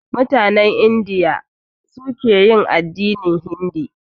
Mutanen Indiya su suke yin addinin hindi.